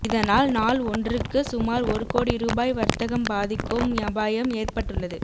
இதனால் நாள் ஒன்றுக்கு சுமார் ஒரு கோடி ரூபாய் வர்த்தகம் பாதிக்கும் அபாயம் ஏற்பட்டுள்ளது